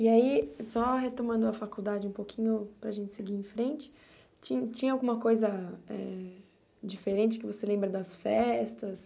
E aí, só retomando a faculdade um pouquinho para a gente seguir em frente, ti tinha alguma coisa eh diferente que você lembra das festas?